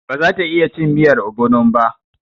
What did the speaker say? Ba za ta iya cin miyar ogbonon ba.